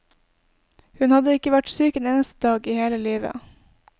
Hun hadde ikke vært syk en eneste dag i hele livet.